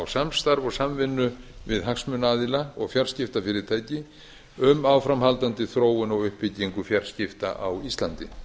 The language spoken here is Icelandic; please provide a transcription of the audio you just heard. samstarf og samvinnu við hagsmunaaðila og fjarskiptafyrirtæki um áframhaldandi þróun og uppbyggingu fjarskipta á íslandi